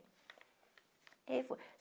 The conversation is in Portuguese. E aí foi.